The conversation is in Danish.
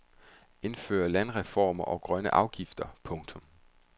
Indfør landreformer og grønne afgifter. punktum